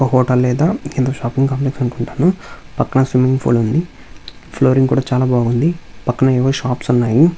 ఒక హోటల్ లేదా కింద షాపింగ్ కాంప్లెక్స్ అనుకుంటాను పక్కన స్విమ్మింగ్ ఫూల్ ఉంది ఫ్లోరింగ్ కూడా చాలా బాగుంది.పక్కన ఏవో షాప్స్ ఉన్నాయి.